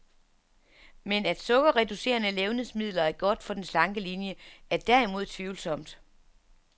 Men at sukkerreducerede levnedsmidler er godt for den slanke linie, er derimod tvivlsomt.